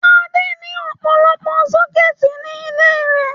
Adé ní ọ̀pọ̀lọpọ̀ sọ́kẹ́tì ní ilé rẹ̀.